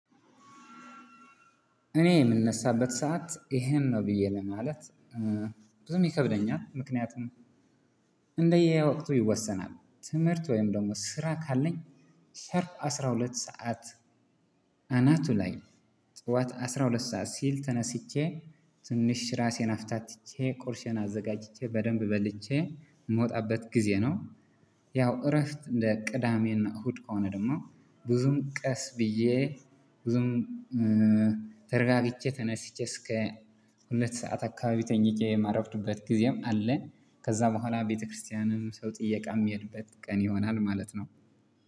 እኔ የምነሳበት ሰዓት ይሄን ነው ብዬ ለማለት ብዙም ይከብደኛል። ምክንያቱም እንደየ ወቅቱ ይወሰናል ትምህርት ወይም ደግሞ ስራ ካለኝ ሻርፕ አስራሁለት ሰዓት። አናቱ ላይ ጠዋት አስራ ሁለት ሲል ተነስቼ ትንሽ ራሴን አፍታትቼ ቁርሴን አዘጋጅቼ በደንብ በልቼ የምወጣበት ጊዜ ነው። ያው እረፍት እንደ ቅዳሜና እሁድ ከሆነ ደግሞ ብዙም ቀስ ብዬ ብዙም ተረጋግቼ ተነስቼ እስከ ሁለት ሰዓት አከባቢ ተኝቼ የማረፍድበት ጊዜም አለ። ከዛ በኋላ ቤተክርስቲያንም ሰው ጥያቄ የምሄድበት ቀን ይሆናል ማለት ነው።